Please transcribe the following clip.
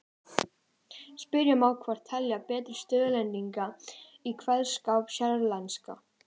Spyrja má hvort telja beri stuðlasetningu í kveðskap séríslenska.